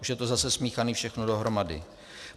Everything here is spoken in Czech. Už je to zase smíchané všechno dohromady.